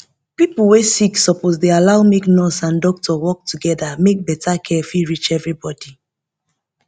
pipo wey sick suppose dey allow make nurse and doctor work together make better care fit reach everybody